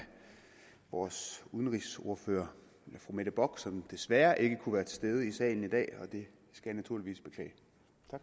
vores udenrigsordfører fru mette bock som desværre ikke kunne være til stede i salen i dag hvad jeg naturligvis skal beklage